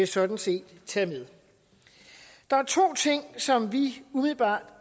sådan set tage med der er to ting som vi umiddelbart